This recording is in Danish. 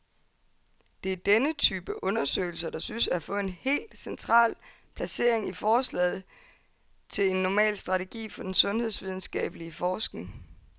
Det er denne type undersøgelser, der synes at få et helt central placering i forslaget til en normal strategi for den sundhedsvidenskabelig forskning.